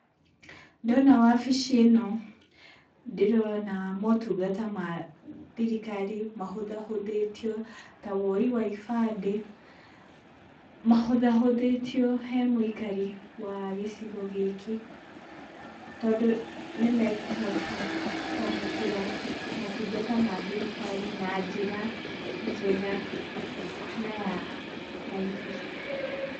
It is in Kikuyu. Ndona wabici ĩno, ndĩrona motungata ma thirikari mahũthahũthĩtio ta woi wa ibandĩ, mahũthahũthĩtio he mũikari wa gĩcigo gĩkĩ. Tondũ nĩmekũhota kwamũkĩra motungata ma thirikari na njĩra njega na ya raithi.